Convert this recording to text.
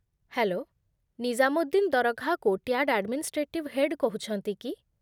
Hello, Nizamuddin Dargah କୋର୍ଟ୍‌ୟାର୍ଡ୍‌ର administrative head କହୁଛନ୍ତି କି?